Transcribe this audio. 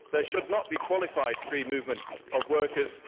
There should not be qualified free movement of workers